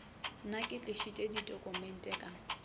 nna ke tlišitše ditokumente ka